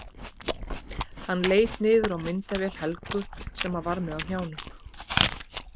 Hann leit niður á myndavél Helgu sem hann var með á hnjánum.